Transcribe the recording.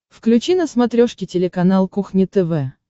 включи на смотрешке телеканал кухня тв